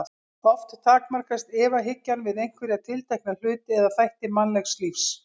Oft takmarkast efahyggjan við einhverja tiltekna hluti eða þætti mannlegs lífs.